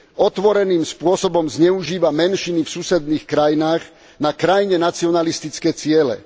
Otvoreným spôsobom zneužíva menšiny v susedných krajinách na krajne nacionalistické ciele.